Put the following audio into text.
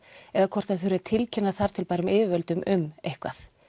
eða hvort það þurfi tilkynna þar til gerðum yfirvöldum um eitthvað